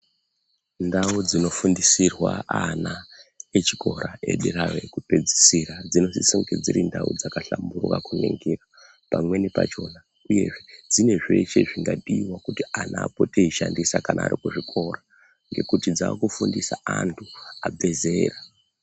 Ndau dzinofundisirwa ana echikora edera ekupedzisira dzinosiso kunge dziri ndau dzakahlamburuka kuningira .Pamweni pachona uyezve dzine zveshe zvingadiwa kuti ana apote eishandisa kana ari kuzvikora ngekuti dzaakufundisa antu abve zera.